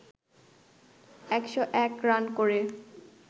১০১ run করে